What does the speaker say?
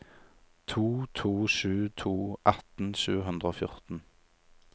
to to sju to atten sju hundre og fjorten